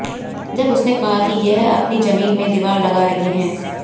जब उसने कहा कि यह अपनी जमीन में दीवार लगा रहे हैं